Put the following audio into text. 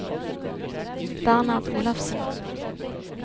Bernhard Olafsen